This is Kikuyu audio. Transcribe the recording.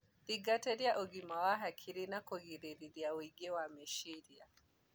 Thĩngatĩrĩa ũgima wa hakiri na kũgirĩrĩrĩa ũingĩ wa meciria